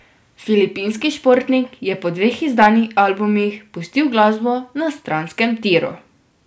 Filipinski športnik je po dveh izdanih albumih pustil glasbo na stranskem triu.